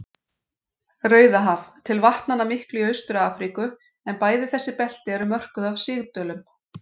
Rauðahaf til vatnanna miklu í Austur-Afríku, en bæði þessi belti eru mörkuð af sigdölum.